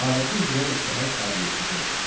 Adəti üzrə səhər saat 7-də oyandı.